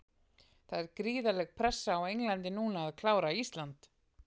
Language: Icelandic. Það er gríðarleg pressa á Englandi núna að klára Ísland.